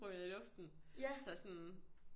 Sprunget i luften så sådan